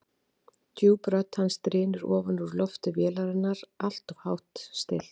Djúp rödd hans drynur ofan úr lofti vélarinnar, alltof hátt stillt.